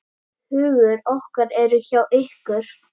Hugur okkar eru hjá ykkur.